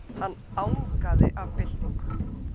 Hann angaði af byltingu.